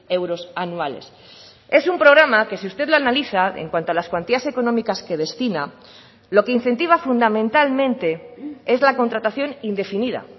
euros anuales es un programa que si usted lo analiza en cuanto a las cuantías económicas que destina lo que incentiva fundamentalmente es la contratación indefinida